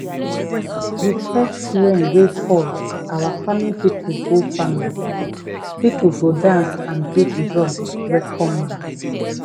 the first rain wey fall our farming people go farming people go dance and beat drum welcome am.